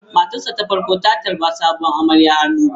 Matarsa ​​ta farko ta tarbi sabuwar amarya hannu biyu.